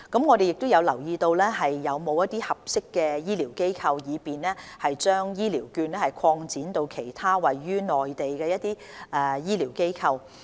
我們亦有留意是否有合適的醫療機構，以便將醫療券擴展至其他位於內地的醫療機構。